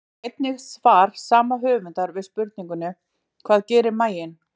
Sjá einnig svar sama höfundar við spurningunni Hvað gerir maginn?